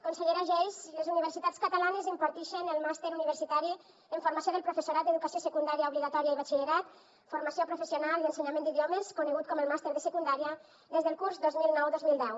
consellera geis les universitats catalanes impartixen el màster universitari en formació del professorat d’educació secundària obligatòria i batxillerat formació professional i ensenyament d’idiomes conegut com el màster de secundària des del curs dos mil nou dos mil deu